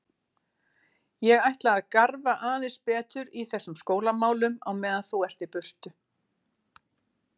Ég ætla að garfa aðeins betur í þessum skólamálum á meðan þú ert í burtu.